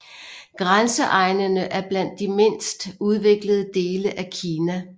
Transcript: Grænseegnene er blandt de mindst udviklede dele af Kina